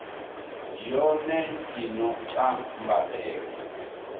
yone i no ta mbadelo